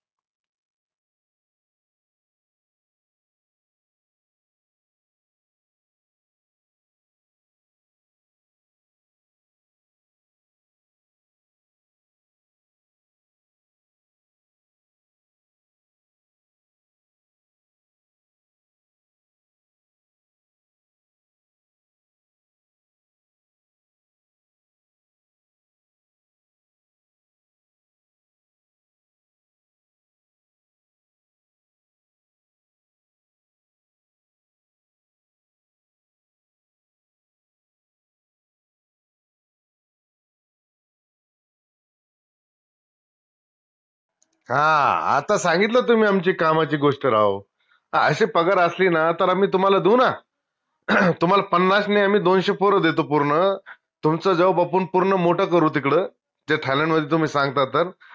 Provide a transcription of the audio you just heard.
हान आता सांगितलंत तुम्ही आमची कामाची गोष्ट राव हान अशे पगार असली ना तर आम्ही तुम्हाला दु ना तुम्हाला पन्नास नाई आम्ही दोनशे पोर देतो पूर्ण तुमचं job आपन पूर्ण मोट करू तिकडं त्या थायलंडमध्ये तुम्ही सांगता तर